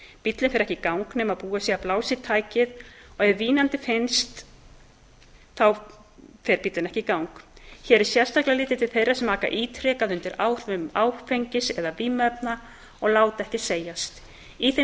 bíllinn fer ekki í gang nema búið sé að blása í tækið og ef vínandi finnst fer hann ekki í gang hér er sérstaklega litið til þeirra sem aka ítrekað undir áhrifum áfengis eða vímuefna og láta ekki segjast í þeim